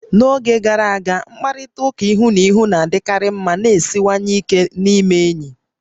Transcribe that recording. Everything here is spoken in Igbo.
N'oge gara aga, mkparịta ụka ihu na ihu na-adịkarị ma na-esiwanye ike n'ịme enyi